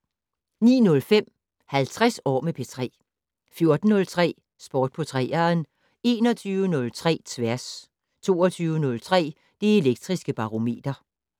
09:05: 50 år med P3 14:03: Sport på 3'eren 21:03: Tværs 22:03: Det Elektriske Barometer